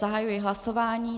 Zahajuji hlasování.